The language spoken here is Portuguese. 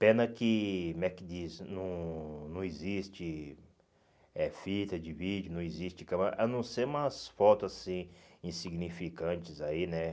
Pena que, como é que diz, não não existe eh fita de vídeo, não existe câmera, a não ser umas fotos assim, insignificantes aí, né?